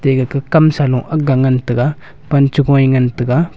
ega kah amsa long agga ngan tega pan chu ngoi ngan tega.